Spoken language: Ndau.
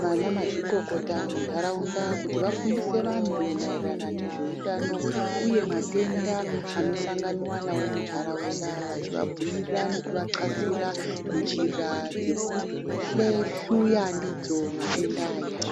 vana mazvikokota muntaraunda kuti vafundise vantu maererano nezveutano uye matenda anosanganiwa nawo muntaraunda vachivabhuyira nekuvatxasira njira dzekuhlehluya ndidzo matenda aya.